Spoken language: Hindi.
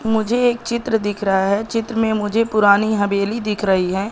मुझे एक चित्र दिख रहा है चित्र में मुझे पुरानी हवेली दिख रही है।